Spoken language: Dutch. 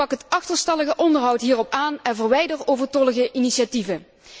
Pak het achterstallige onderhoud hierop aan en verwijder overtollige initiatieven.